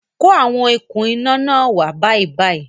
Kó àwọn okún iná náà wá bàìbàì!